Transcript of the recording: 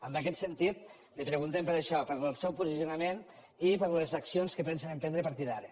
en aquest sentit li preguntem per això pel seu posicionament i per les accions que pensen emprendre a partir d’ara